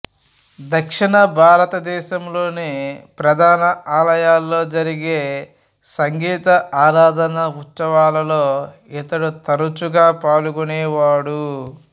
దక్షిణ భారతదేశంలోని ప్రధాన ఆలయాలలో జరిగే సంగీత ఆరాధన ఉత్సవాలలో ఇతడు తరచుగా పాల్గొనేవాడు